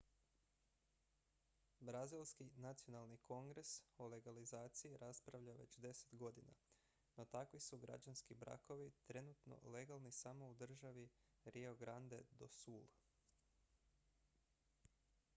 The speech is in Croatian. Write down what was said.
brazilski nacionalni kongres o legalizaciji raspravlja već 10 godina no takvi su građanski brakovi trenutno legalni samo u državi rio grande do sul